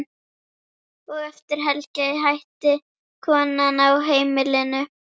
Og eftir helgi hætti konan á heimilinu.